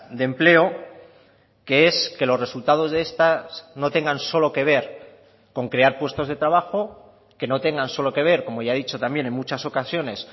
de empleo que es que los resultados de estas no tengan solo que ver con crear puestos de trabajo que no tengan solo que ver como ya he dicho también en muchas ocasiones